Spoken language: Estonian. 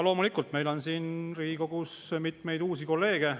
Loomulikult, meil on siin Riigikogus mitmeid uusi kolleege.